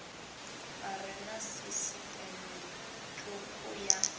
are na sisiṱeme thukhu ya